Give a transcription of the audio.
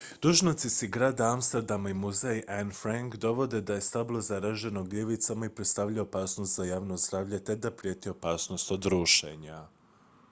dužnosnici grada amsterdama i muzej anne frank navode da je stablo zaraženo gljivicama i predstavlja opasnost za javno zdravlje te da prijeti opasnost od rušenja